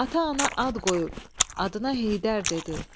Ata-ana ad qoyub, adına Heydər dedi.